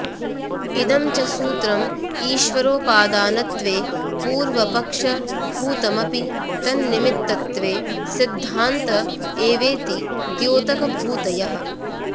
इदं च सूत्रम् ईश्वरोपादानत्वे पूर्वपक्षभूतमपि तन्निमित्तत्वे सिद्धान्त एवेति द्योतकभूतयः